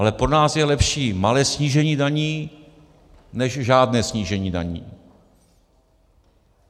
Ale pro nás je lepší malé snížení daní než žádné snížení daní.